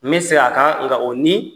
N be seg'a kan nka o ni